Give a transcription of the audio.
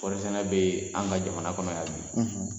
Kɔɔriw sɛnɛ bɛ an ka jamana kɔnɔ yan bi.